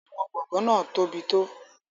Àwọn gbọ̀ngàn náà tóbi tó.